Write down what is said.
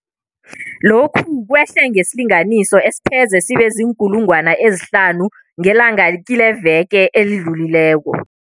Lokhu kwehle ngesilinganiso esipheze sibe ziinkulungwana ezihlanu ngelanga kileveke edlulileko.